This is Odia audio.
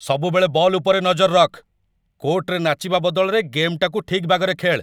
ସବୁବେଳେ ବଲ୍ ଉପରେ ନଜର ରଖ୍‌ । କୋର୍ଟ୍‌ରେ ନାଚିବା ବଦଳରେ ଗେମ୍‌ଟାକୁ ଠିକ୍ ବାଗରେ ଖେଳ୍‌।